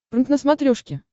прнк на смотрешке